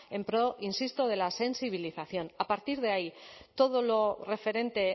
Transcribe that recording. en pro insisto de la sensibilización a partir de ahí todo lo referente